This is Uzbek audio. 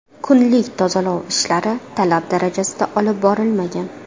Kunlik tozalov ishlari talab darajasida olib borilmagan.